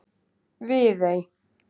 Viðey